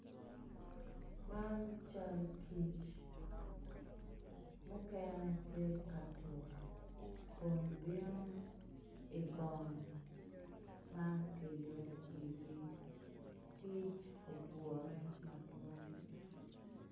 Man cal kic mukene tye ka tuk kun bino ibong ma kiyubo pirgi kic ogure madwong.